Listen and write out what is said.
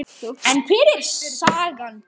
En hver er sagan?